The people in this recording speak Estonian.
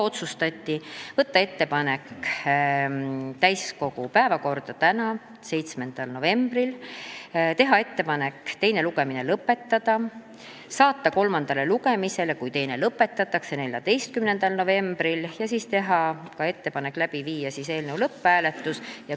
Otsustati teha ettepanek võtta eelnõu täiskogu päevakorda 7. novembriks ehk tänaseks, teha ettepanek teine lugemine lõpetada ja saata eelnõu kolmandale lugemisele, kui teine lõpetatakse, 14. novembriks ning siis panna ka lõpphääletusele.